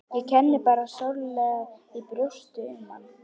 Ég kenndi bara sárlega í brjósti um hann.